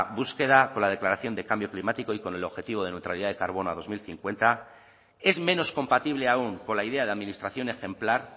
búsqueda con la declaración del cambio climático y con el objetivo de neutralidad de carbono a dos mil cincuenta es menos compatible aún con la idea de administración ejemplar